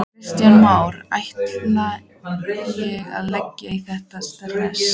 Kristján Már: Ætti ég að leggja í þetta sterka?